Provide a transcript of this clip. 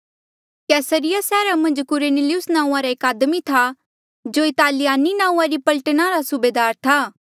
कैसरिया सैहरा मन्झ कुरनेलियुस नांऊँआं रा एक आदमी था जो इतालियानि नांऊँआं री पलटना रा सूबेदार था